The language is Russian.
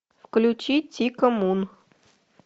включи тико мун